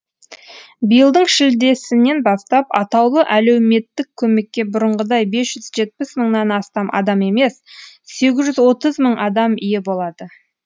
биылдың шілдесінен бастап атаулы әлеуметтік көмекке бұрынғыдай бес жүз жетпіс мыңнан астам адам емес сегіз жүз отыз мың адам ие болады